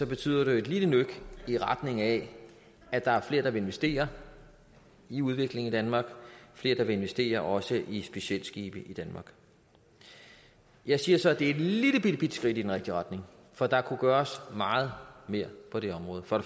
betyder det jo et lille nøk i retning af at der er flere der vil investere i udvikling i danmark og flere der vil investere også i specialskibe i danmark jeg siger så at det er et lillelillebitte skridt i den rigtige retning for der kunne gøres meget mere på det område for